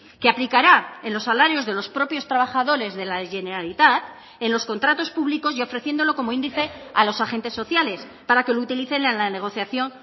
que aplicará en los salarios de los propios trabajadores de la generalitat en los contratos públicos y ofreciéndolo como índice a los agentes sociales para que lo utilicen en la negociación